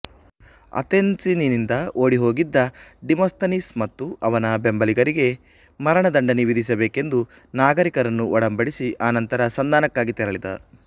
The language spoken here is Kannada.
ಆತೆನ್ಸಿನಿಂದ ಓಡಿಹೋಗಿದ್ದ ಡಿಮಾಸ್ತನೀಸ್ ಮತ್ತು ಅವನ ಬೆಂಬಲಿಗರಿಗೆ ಮರಣ ದಂಡನೆ ವಿಧಿಸಬೇಕೆಂದು ನಾಗರಿಕರನ್ನು ಒಡಂಬಡಿಸಿ ಅನಂತರ ಸಂಧಾನಕ್ಕಾಗಿ ತೆರಳಿದ